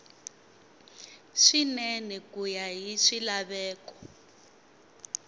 swinene ku ya hi swilaveko